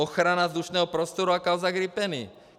Ochrana vzdušného prostoru a kauza gripeny.